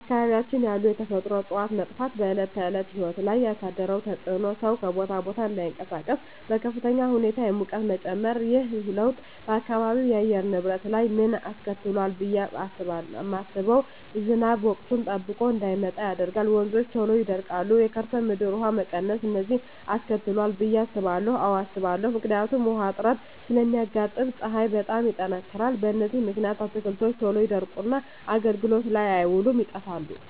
በአካባቢያችን ያሉ የተፈጥሮ እፅዋት መጥፋት በዕለት ተዕለት ሕይወት ላይ ያሣደረው ተፅኖ ሠው ከቦታ ቦታ እዳይንቀሣቀስ፤ በከፍተኛ ሁኔታ የሙቀት መጨመር። ይህ ለውጥ በአካባቢው የአየር ንብረት ላይ ምን አስከትሏል ብየ ማስበው። ዝናብ ወቅቱን ጠብቆ እዳይመጣ ያደርጋል፤ ወንዞች ቶሎ ይደርቃሉ፤ የከርሠ ምድር ውሀ መቀነስ፤ እነዚን አስከትሏል ብየ አስባለሁ። አዎ አስባለሁ። ምክንያቱም ውሀ እጥረት ስለሚያጋጥም፤ ፀሀይ በጣም ይጠነክራል። በዚህ ምክንያት አትክልቶች ቶሎ ይደርቁና አገልግሎት ላይ አይውሉም ይጠፋሉ።